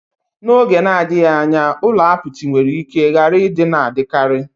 N'oge na-adịghị anya, ụlọ apịtị nwere ike ghara ịdị na-adịkarị.